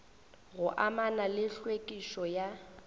go amana le tlhwekišo ya